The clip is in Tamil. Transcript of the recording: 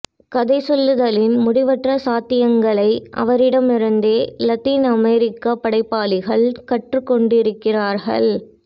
கதைசொல்லுதலின் முடிவற்ற சாத்தியங்களை அவரிடமிருந்தே லத்தீன் அமெரிக்க படைப்பாளிகள் கற்றுக் கொண்டிருக்கிறார்கள்